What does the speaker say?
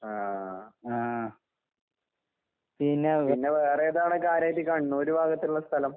ആഹ്. പിന്നെ വേറെ ഏതാ അവടെ കാര്യായിട്ട് കണ്ണൂര് ഭാഗത്തുള്ള സ്ഥലം?